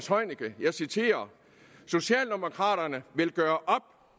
jeg citerer socialdemokraterne vil gøre op